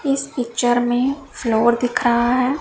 इस पिक्चर में फ्लोर दिख रहा है।